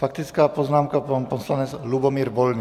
Faktická poznámka, pan poslanec Lubomír Volný.